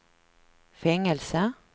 fängelse